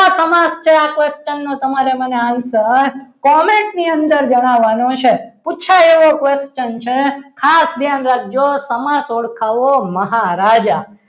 કયો સમાજ છે આ question નો તમારે answer comment ની અંદર જણાવવાનું છે પૂછાયો question છે ખાસ ધ્યાન રાખજો સમાસ ઓળખાવો મહારાજા